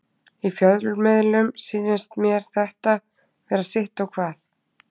Í fjölmiðlum sýnist mér þetta vera sitt og hvað.